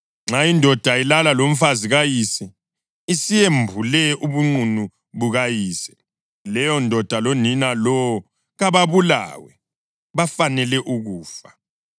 Nxa indoda ilala lomfazi kayise, isiyembule ubunqunu bukayise. Leyondoda lonina lowo kababulawe. Bafanele ukufa.